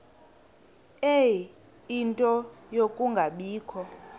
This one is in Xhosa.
ie nto yokungabikho